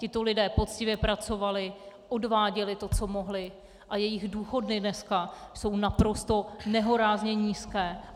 Tito lidé poctivě pracovali, odváděli to, co mohli, a jejich důchody dnes jsou naprosto nehorázně nízké.